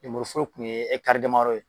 Lemuru foro kun ye ɛkitari damadɔ ye